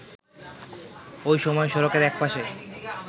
ওই সময় সড়কের একপাশে